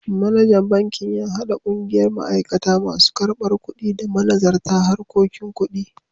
Manajan bankin ya haɗa ƙungiyar ma'aikata, masu karbar kuɗi, da manazarta harkokin kuɗi.